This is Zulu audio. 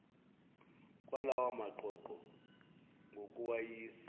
kwalawa maqoqo ngokuwayisa